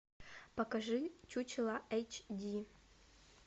покажи чучело эйч ди